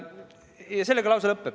Aga sellega lause lõpeb.